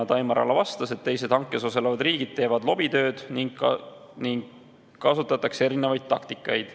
Taimar Ala vastas, et teised hankes osalevad riigid teevad lobitööd ning kasutatakse erinevaid taktikaid.